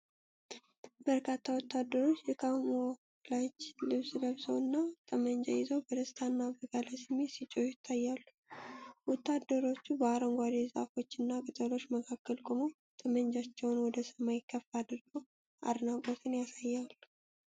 በርካታ ወታደሮች የካሞፍላጅ ልብስ ለብሰው እና ጠመንጃ ይዘው በደስታና በጋለ ስሜት ሲጮሁ ይታያሉ። ወታደሮቹ በአረንጓዴ ዛፎችና ቅጠሎች መካከል ቆመው ጠመንጃቸውን ወደ ሰማይ ከፍ አድርገው አድናቆትን ያሳያሉ።